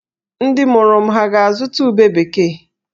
Ndị mụrụ m hà ga-azụta ube bekee?